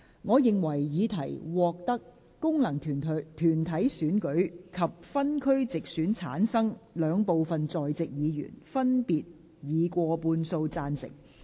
我認為議題獲得經由功能團體選舉產生及分區直接選舉產生的兩部分在席議員，分別以過半數贊成。